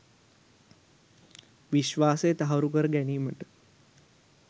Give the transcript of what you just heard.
විශ්වාසය තහවුරු කර ගැනීමට